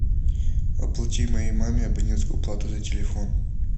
оплати моей маме абонентскую плату за телефон